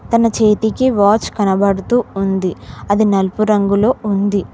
తన చేతికి వాచ్ కనబడుతూ ఉంది అది నలుపు రంగులో ఉంది.